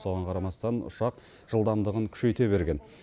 соған қарамастан ұшақ жылдамдығын күшейте берген